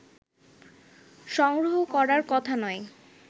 সংগ্রহ করার কথা নয়